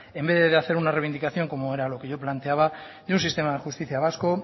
en vez de hacer una reivindicación como era lo que yo planteaba de un sistema de justicia vasco